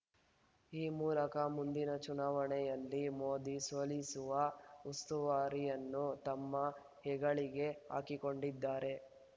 ಈ ಮೂಲಕ ಮುಂದಿನ ಚುನಾವಣೆಯಲ್ಲಿ ಮೋದಿ ಸೋಲಿಸುವ ಉಸ್ತುವಾರಿಯನ್ನು ತಮ್ಮ ಹೆಗಲಿಗೆ ಹಾಕಿಕೊಂಡಿದ್ದಾರೆ